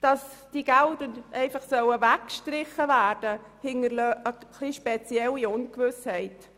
Dass diese Gelder einfach weggestrichen werden sollen, hinterlässt eine etwas spezielle Ungewissheit.